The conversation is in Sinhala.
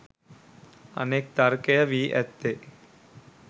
අනෙක් තර්කය වී ඇත්තේ